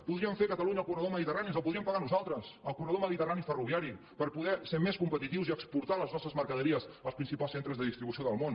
podríem fer a catalunya el corredor mediterrani ens el podríem pagar nosaltres el corredor mediterrani ferroviari per poder ser més competitius i exportar les nostres mercaderies als principals centres de distribució del món